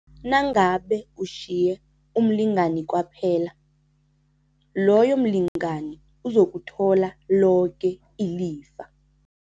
Nangabe utjhiye umlingani kwaphela, loyo mlingani uzokuthola loke ilifa.